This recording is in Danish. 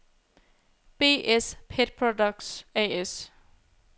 B-S Pet Products A/S